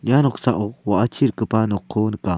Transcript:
ia noksao wa·achi rikgipa nokko nika.